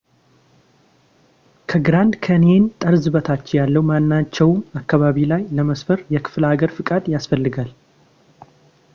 ከግራንድ ካንየን ጠርዝ በታች ያለው ማናቸውም አካባቢ ላይ ለመስፈር የክፍለሃገር ፈቃድ ይፈልጋል